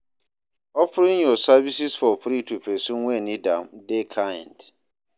Offering yur services for free to pesin wey nid am dey kind.